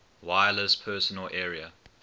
wireless personal area